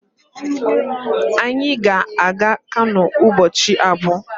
Anyị ga-aga Kano ụbọchị abụọ